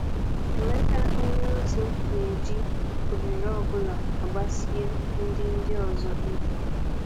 Emeka onyeozi na-eji ohere ọ bụla agbasie ndị ndị ọzọ ike.